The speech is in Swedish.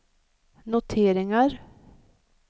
noteringar